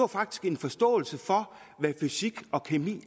faktisk en forståelse for hvad fysik og kemi